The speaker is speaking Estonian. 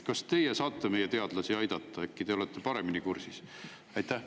Kas teie saate meie teadlasi aidata, äkki te olete paremini kursis?